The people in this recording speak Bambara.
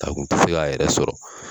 Ta kun te se k'a yɛrɛ sɔrɔ